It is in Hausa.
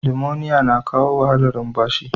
Limoniya na kawo wahalar lumfashi.